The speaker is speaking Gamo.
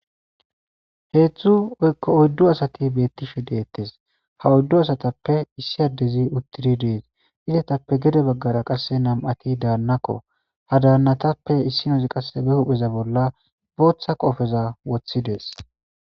Hezdzdu woyko oydu asati betishe de'etesi , ha oydu asatappe issi adezi utidi de'esi. Izetappe gede bagara qase nam'ati danako, ha danatappe issinazi qaseka hupheza bolla bootha qopeza wothidedesi.